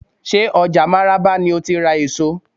Ṣé ọjà máràba ni ó ti ra èso?